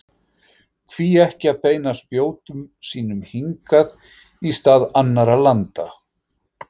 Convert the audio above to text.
Hví ekki að beina spjótum sínum hingað í stað annarra landa?